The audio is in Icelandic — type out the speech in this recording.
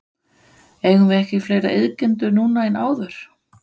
Eigum við ekki fleiri iðkendur núna en áður?